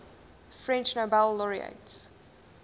french nobel laureates